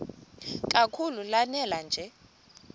kakhulu lanela nje